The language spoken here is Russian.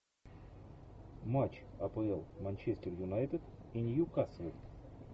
матч апл манчестер юнайтед и ньюкасл